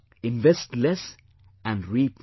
Invest Less and Reap More